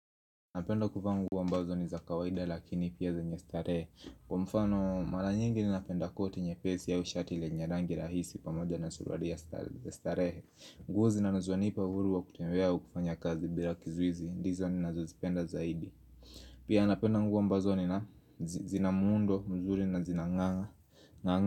Napenda kuvaa nguo ambazo ni za kawaida lakini pia zenye starehe kwa mfano mara nyingi ninapenda koti nyepesi au shati lenye rangi rahisi pamoja na suruali ya starehe nguo zinazonipa uhuru wa kutembea au kufanya kazi bila kizuizi ndizo ninazozipenda zaidi. Pia napenda nguo ambazo zina muundo mzuri na zinang'aa ng'aa.